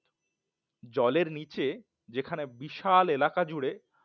জলের নিচে যেখানে বিশাল এলাকা জুড়ে